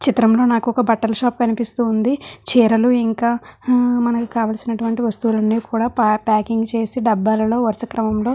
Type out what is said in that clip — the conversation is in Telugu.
చిత్రం లో నాకు ఒక బట్టల షాప్ కనిపిస్తూ ఉంది. చీరలు ఇంకా హా మనకు కావలిసినటువంటి వస్తువులు అన్ని కూడా ప్యాకింగ్ చేసి డబ్బాల లో వరుస క్రమంలో --